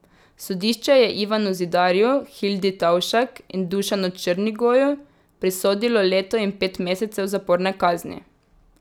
Sodišče je Ivanu Zidarju, Hildi Tovšak in Dušanu Črnigoju prisodilo leto in pet mesecev zaporne kazni.